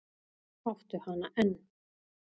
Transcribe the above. Áttu hana enn?